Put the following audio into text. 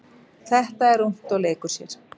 Þetta er ungt og leikur sér.